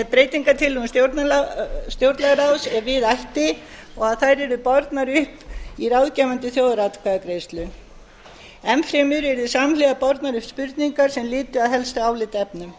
breytingartillögum stjórnlagaráðs ef við ætti og þær yrðu bornar upp í ráðgefandi þjóðaratkvæðagreiðslu enn fremur yrðu samhliða bornar upp spurningar sem lytu að helstu álitaefnum